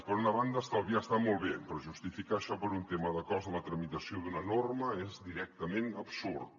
per una banda estalviar està molt bé però justificar això per un tema de cost de la tramitació d’una norma és directament absurd